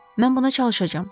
Mən buna çalışacağam.